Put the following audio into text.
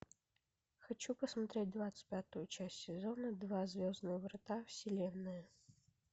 хочу посмотреть двадцать пятую часть сезона два звездные врата вселенная